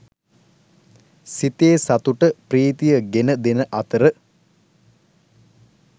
සිතේ සතුට ප්‍රීතිය ගෙන දෙන අතර